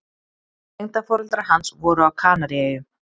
Tengdaforeldrar hans voru á Kanaríeyjum.